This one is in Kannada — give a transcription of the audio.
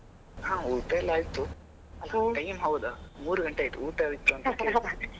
ಹಾ ಊಟ ಎಲ್ಲ ಆಯಿತು time ಹೌದಾ ಮೂರು ಗಂಟೆ ಆಯ್ತು ಊಟ ಆಯ್ತಾ ಅಂತಾ ಕೇಳ್ತಿರಲ್ಲಾ.